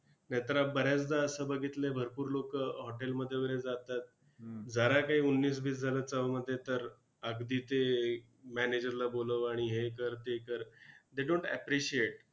नाहीतर बऱ्याचदा असं बघितलंय, भरपूर लोकं hotel मध्ये वगैरे जातात. जरा काय उन्नीस-बीस झालं चवमध्ये तर, अगदी ते manager ला बोलव आणि हे कर, ते कर they dont appreciate!